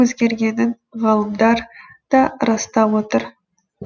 өзгергенін ғалымдар да растап отыр